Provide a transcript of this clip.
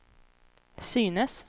synes